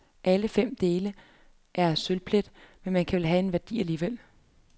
Alle fem dele er af sølvplet, men kan vel have en værdi alligevel.